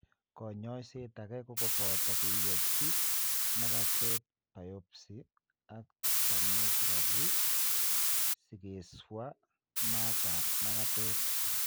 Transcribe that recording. Konyoiset age kogopoto keyochi magatet biopsy ak thermography sigeswa mat ap magatet.